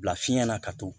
Bila fiɲɛ na ka to